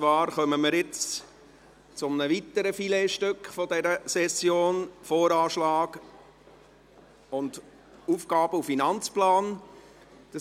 Wir kommen zu einem weiteren Filetstück dieser Session, nämlich zum Voranschlag (VA) und zum Aufgaben- und Finanzplan (AFP).